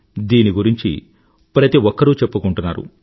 దీని గురించి ప్రతి ఒక్కరూ చెప్పుకుంటున్నారు